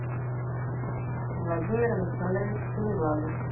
владимир александрович семиглазов